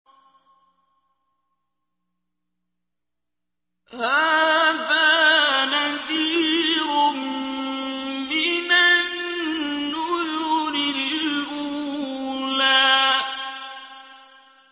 هَٰذَا نَذِيرٌ مِّنَ النُّذُرِ الْأُولَىٰ